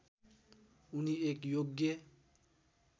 उनी एक योग्य